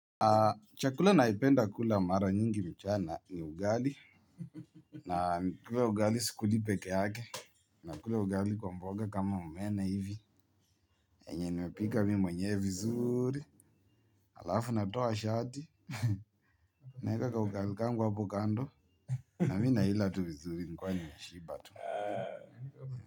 Chakula naipenda kula mara nyingi mchana ni ugali. Na nikula ugali sikuli peke yake. Nakula ugali kwa mboga kama omena hivi. Enye nimepika mimi mwenyewe vizuri. Alafu natoa shati. Naeka ka ugali kangu hapo kando. Na mii na hila tu vizuri nikiwa nimeshiba tu.